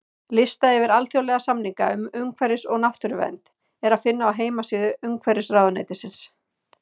Lista yfir alþjóðlega samninga um umhverfis- og náttúruvernd er að finna á heimasíðu Umhverfisráðuneytisins.